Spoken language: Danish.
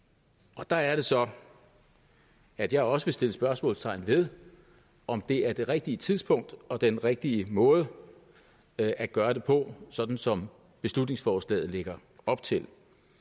og der er det så at jeg også vil sætte spørgsmålstegn ved om det er det rigtige tidspunkt og den rigtige måde at at gøre det på sådan som beslutningsforslaget lægger op til